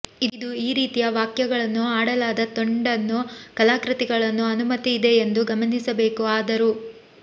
ಇದು ಈ ರೀತಿಯ ವಾಕ್ಯಗಳನ್ನು ಆಡಲಾದ ತುಂಡನ್ನು ಕಲಾಕೃತಿಗಳನ್ನು ಅನುಮತಿ ಇದೆ ಎಂದು ಗಮನಿಸಬೇಕು ಆದರೂ